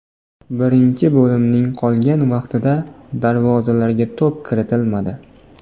Birinchi bo‘limning qolgan vaqtida darvozalarga to‘p kiritilmadi.